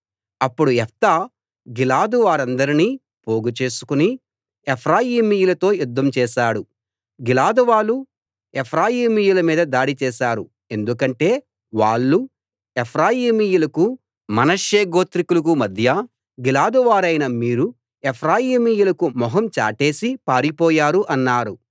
అప్పుడు యెఫ్తా గిలాదు వారందర్నీ పోగు చేసుకుని ఎఫ్రాయిమీయులతో యుద్ధం చేశాడు గిలాదువాళ్ళు ఎఫ్రాయిమీయుల మీద దాడి చేశారు ఎందుకంటే వాళ్ళు ఎఫ్రాయిమీయులకు మనష్శే గోత్రికులకు మధ్య గిలాదువారైన మీరుఎఫ్రాయిమీయులకు మొహం చాటేసి పారిపోయారు అన్నారు